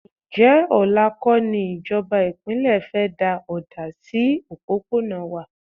Ǹjẹ́ ọ̀la kọ́ ní ìjọba ìpínlẹ̀ fẹ́ da ọ̀dà sí òpópónà wà?